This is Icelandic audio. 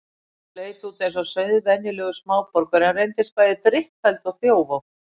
Konuna sem leit út eins og sauðvenjulegur smáborgari en reyndist bæði drykkfelld og þjófótt.